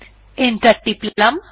enter টিপলাম